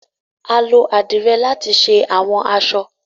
Alo adire lati ṣe awọn aṣọ.